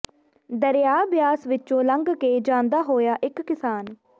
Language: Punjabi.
ਦਰਿਆ ਬਿਆਸ ਵਿਚੋਂ ਲੰਘ ਕੇ ਜਾਂਦਾ ਹੋਇਆ ਇਕ ਕਿਸਾਨ